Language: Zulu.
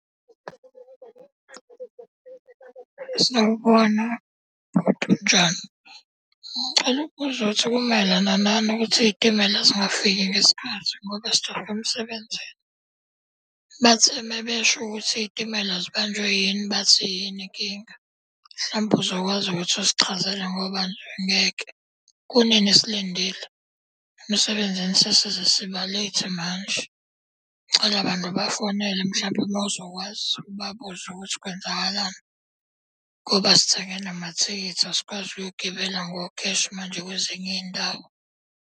Sawubona bhuti unjani. Ngicela ukubuza ukuthi kumayelana nani ukuthi iy'timela zingafiki ngesikhathi ngoba sijahe emsebenzini. Bathe uma besho ukuthi iy'timela zibanjwe yini, bathi yini inkinga? Mhlampe uzokwazi ukuthi usichazele ngoba ngeke, kunini silindile. Emsebenzini sesize siba-late manje. Ngicela bandla ubafonele mhlampe mawuzokwazi ubabuze ukuthi kwenzakalani ngoba sithenge namathikithi asikwazi ukuyogibela ngokheshi manje kwezinye iy'ndawo.